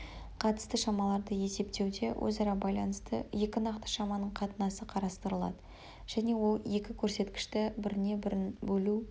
қатысты шамаларды есептеуде өзара байланысты екі нақты шаманың қатынасы қарастырылады және ол екі көрсеткішті біріне-бірін бөлу